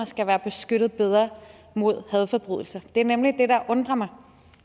skal være beskyttet bedre mod hadforbrydelser det er nemlig det der undrer mig